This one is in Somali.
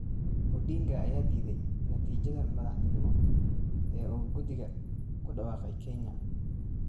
Odinga ayaa diiday natiijadii madaxtinimo ee uu guddiga ku dhawaaqay Kenya